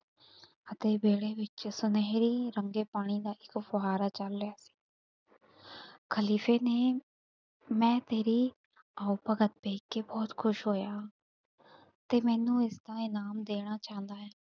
ਅਤੇ ਵਿਹੜੇ ਵਿੱਚ ਸੁਨਹਿਰੀ ਰੰਗੇ ਪਾਣੀ ਦਾ ਇੱਕ ਫੁਹਾਰਾ ਚੱਲ ਰਿਹਾ ਖ਼ਲੀਫ਼ੇ ਨੇ, ਮੈਂ ਤੇਰੀ ਆਓ ਭਗਤ ਦੇਖ ਕੇ ਬਹੁਤ ਖੁਸ਼ ਹੋਇਆ ਤੇ ਮੈਨੂੰ ਇਸਦਾ ਇਨਾਮ ਦੇਣਾ ਚਾਹੁੰਦਾ ਹਾਂ।